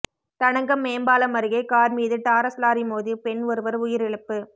தடங்கம் மேம்பாலம் அருகே கார் மீது டாரஸ் லாரி மோதி பெண் ஒருவர் உயிரிழப்பு